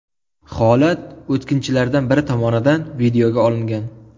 Holat o‘tkinchilardan biri tomonidan videoga olingan.